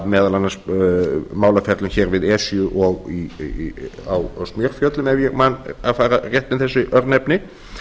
meðal annars málaferlum hér við esju og í smjörfjöllum ef ég man að fara rétt með þessi örnefni